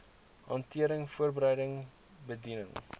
hantering voorbereiding bediening